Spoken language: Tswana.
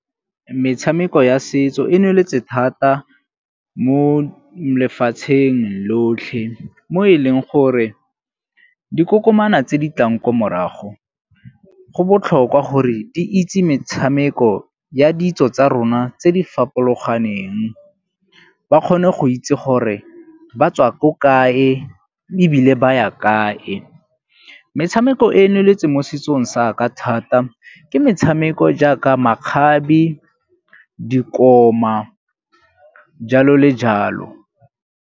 Metshameko ya setso e nweletse thata mo lefatsheng lotlhe mo e leng gore dikokomana tse di tlang ko morago go botlhokwa gore di itse metshameko ya ditso tsa rona tse di fapologaneng. Ba kgone go itse gore ba tswa ko kae ebile ba ya kae. Metshameko e e nweletse mo setsong sa ka thata ke metshameko jaaka makgabe, dikoma jalo le jalo.